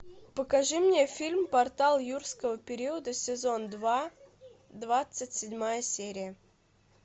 покажи мне фильм портал юрского периода сезон два двадцать седьмая серия